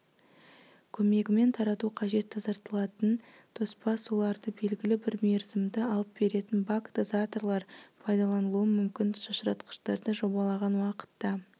көмегімен тарату қажет тазартылатын тоспа суларды белгілі бір мерзімді алып беретін бак-дозаторлар пайдаланылуы мүмкін шашыратқыштарды жобалаған уақытта